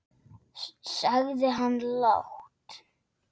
sagði hann lágt.